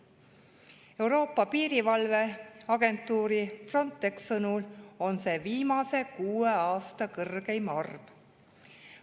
Euroopa piirivalveagentuuri Frontex sõnul on see viimase kuue aasta kõrgeim arv.